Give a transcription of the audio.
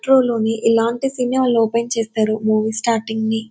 Metro లోని ఇలాంటి సీనే వాళ్ళు ఓపెన్ చేస్తారు. మూవీ స్టాటింగ్ని .